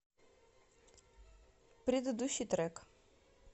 предыдущий трек